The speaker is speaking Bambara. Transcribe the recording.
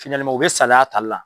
u bɛ saliy'a tali la.